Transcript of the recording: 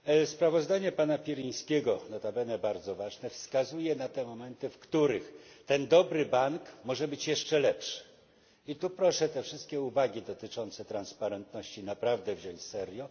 Sprawozdanie pana Pirinskiego, nota bene bardzo ważne, wskazuje na te momenty, w których ten dobry bank może być jeszcze lepszy. I tu proszę te wszystkie uwagi dotyczące transparentności naprawdę wziąć serio.